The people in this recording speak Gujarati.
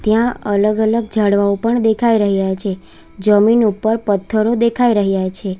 ત્યાં અલગ-અલગ ઝાડવાઓ પણ દેખાઈ રહ્યા છે જમીન ઉપર પથ્થરો દેખાઈ રહ્યા છે.